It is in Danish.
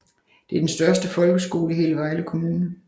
Det er den største folkeskole i hele Vejle Kommune